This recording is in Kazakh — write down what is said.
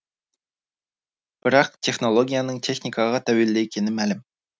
бірақ технологияның техникаға тәуелді екені мәлім